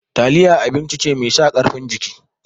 Taliya abinci ce mai sa ƙarfin jiki.